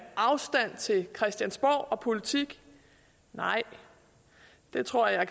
afstand til christiansborg og politik nej jeg tror jeg